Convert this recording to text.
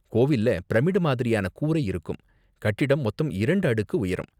கோவில்ல பிரமிடு மாதிரியான கூரை இருக்கும், கட்டிடம் மொத்தம் இரண்டு அடுக்கு உயரம்.